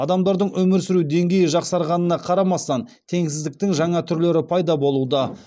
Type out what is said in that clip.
адамдардың өмір сүру деңгейі жақсарғанына қарамастан теңсіздіктің жаңа түрлері пайда болуда